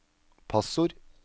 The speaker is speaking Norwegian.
passord